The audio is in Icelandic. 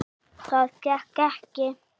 Það gekk ekki